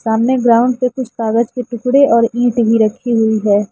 हमने ग्राउंड पे कुछ कागज के टुकड़े और ईट भी रखी हुई है।